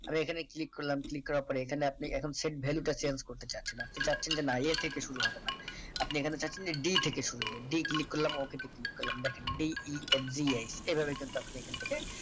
আমি এখানে click করলাম click করার পরে এখানে আপনি এখন set value টা change করতে চাচ্ছিলাম আপনি চাচ্ছেন যে না a থেকে শুরু হবে না আপনি এখানে চাচ্ছেন যে d থেকে শুরু হবে d click করলাম okay তে click করলাম দেখেন d e n g i এই ভাবে কিন্তু আপনি এখান থেকে